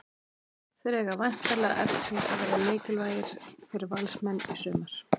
Þeir eiga væntanlega eftir að verða mikilvægir fyrir Valsmenn í sumar.